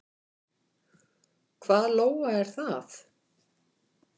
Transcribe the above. Hvað Lóa er það?